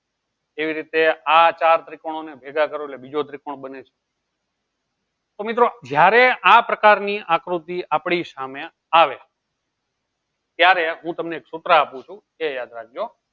કેવી રીતે આ ચાર ત્રિકોણને ભેગા કરો એટલે બીજો ત્રિકોણ બને તો મિત્રો જ્યારે આ પ્રકારની આકૃતિ આપણી સામે આવે ત્યારે હું તમને સૂત્ર આપું છું એ યાદ રાખજો.